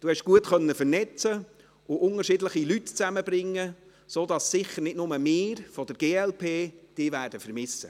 konnten gut vernetzen und unterschiedliche Leute zusammenbringen, sodass sicher nicht nur wir von der glp Sie vermissen werden.